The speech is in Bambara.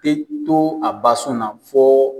Bɛ to a basunna fɔ.